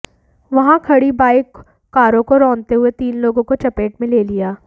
वहां खड़ी बाइक कारों को रौंदते हुए तीन लोगों को चपेट में ले लिया